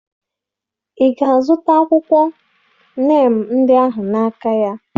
Ị ga-azụta akwụkwọ neem ndị ahụ n'aka ya?